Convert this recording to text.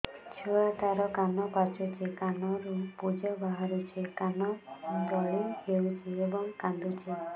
ଛୁଆ ଟା ର କାନ ପାଚୁଛି କାନରୁ ପୂଜ ବାହାରୁଛି କାନ ଦଳି ହେଉଛି ଏବଂ କାନ୍ଦୁଚି